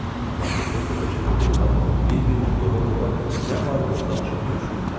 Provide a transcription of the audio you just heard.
Madmazel Blanşe və general bir-birini qova-qova nə barədə isə danışıb gülüşürdülər.